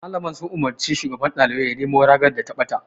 Malaman sun umarci shugaban ɗaliban ya nemo ragar da ta ɓata.